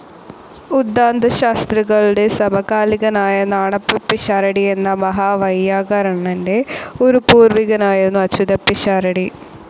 ഉദ്ധാന്തശാസ്ത്രികളുടെ സമകാലികനായ നാണപ്പപ്പിഷാരടി എന്ന മഹാവൈയാകർണൻ്റെ ഒരു പൂർവികനായിരുന്നു അച്യുതപ്പിഷാരടി.